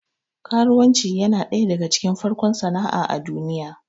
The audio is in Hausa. Karuwanci yana ɗaya daga cikin farkon sana'a a duniya